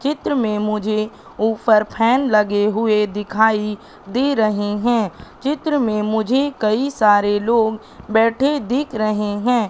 चित्र में मुझे ऊपर फैन लगे हुएं दिखाई दे रहें हैं चित्र में मुझे कई सारे लोग बैठे देख रहें हैं।